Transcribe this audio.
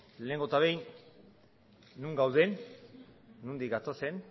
lehenengo eta behin non gauden nondik gatozen